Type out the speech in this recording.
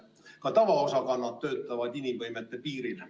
Ka tavaosakonnad töötavad inimvõimete piiril.